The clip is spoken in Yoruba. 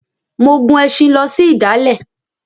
Mo gun ẹṣin lọ sí ìdálẹ̀.